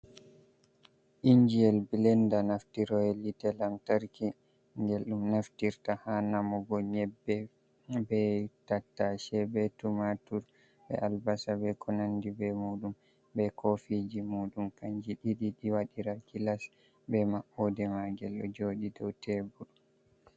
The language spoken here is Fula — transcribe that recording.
Injiyel blenda nafti roye hite lantarki gel dum naftirta ha namugo nyebbe, be tattashe, be tumatur, be albasa, be konandi be muɗum, be kofiji muɗum kanje ɗiɗi, ɗiwaɗira gilas be maɓɓoɗe magel ɗo joɗi dow tebur.